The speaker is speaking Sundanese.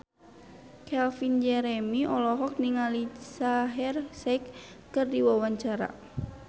Calvin Jeremy olohok ningali Shaheer Sheikh keur diwawancara